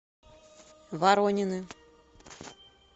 воронины